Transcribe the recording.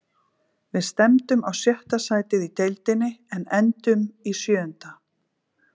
Við stefndum á sjötta sætið í deildinni en endum í sjöunda.